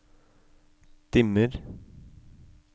dimmer